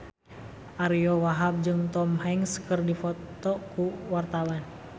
Ariyo Wahab jeung Tom Hanks keur dipoto ku wartawan